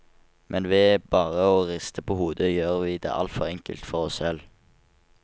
Men ved bare å riste på hodet gjør vi det altfor enkelt for oss selv.